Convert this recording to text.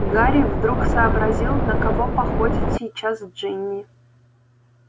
гарри вдруг сообразил на кого походит сейчас джинни